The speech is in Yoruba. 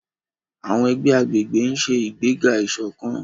Àwọn ẹgbẹ́ agbègbè ń ṣe ìgbéga ìṣọ̀kan.